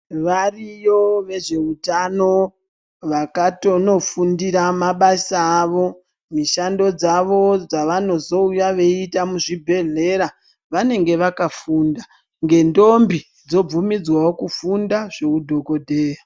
Variyo vezveutano vakatonofundira mabasa awo mishando dzawo dzavanozouya veiita muzvibhedhlera vanenge vakafunda ngendombo dzobvumidzwawo kufunda zveudhokodheya.